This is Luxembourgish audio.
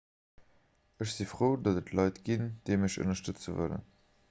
ech si frou datt et leit ginn déi mech ënnerstëtze wëllen